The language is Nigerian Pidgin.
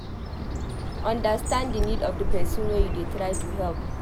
Understand di need of di person wey you dey try to help